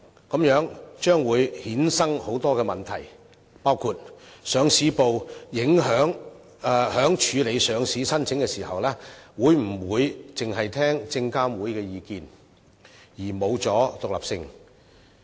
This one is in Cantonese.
這樣將會衍生很多問題，包括上市部在處理上市申請時，會否傾向於證監會意見，而欠缺獨立性？